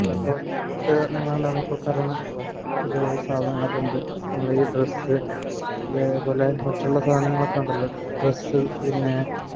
ഈ ഡ്രസ്സ് അതേപോലെ മറ്റുള്ള സാധനങ്ങളൊക്കെ ഉണ്ടല്ലോ ഡ്രസ്സ് പിന്നെ